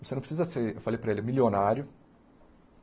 Você não precisa ser, eu falei para ele, milionário.